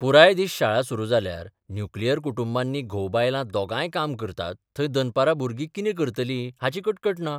पुराय दीस शाळा सुरू जाल्यार न्युक्लियर कुटुंबांनी घोव बायलां दोगांय काम करतात थंय दनपरां भुरर्गी कितें करतर्ली हाची कटकट ना.